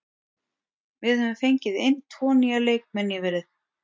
Við höfum fengið inn tvo nýja leikmenn nýverið.